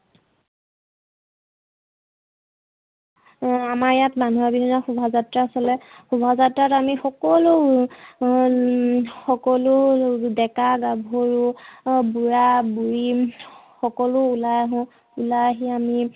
আমাৰ ইয়াত মানুহৰ বিহুৰ দিনা শোভাযাত্ৰা চলে শোভাযাত্ৰাত আমি সকলো হম সকলো ডেকা গাভৰু, বুড়া বুঢ়ী সকলো ওলাই আহো, ওলাই আহি আমি